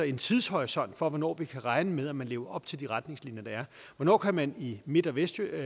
en tidshorisont for hvornår vi kan regne med at man lever op til de retningslinjer der er hvornår kan man i midt og vestsjælland